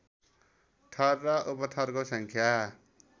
थर र उपथरको सङ्ख्या